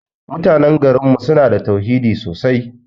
Mutanan garin mu suna da tauhidi sosai.